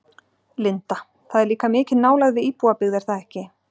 Linda: Það er líka mikil nálægð við íbúabyggð er það ekki?